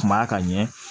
Kuma ka ɲɛ